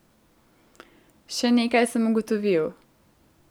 Še nekaj sem ugotovil.